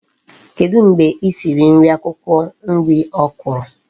Kedu mgbe isiri nri akwukwo nri Okra?